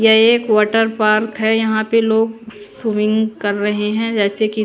यह एक water park है यहां पे लोग स्विमिंग कर रहे हैं जैसे कि--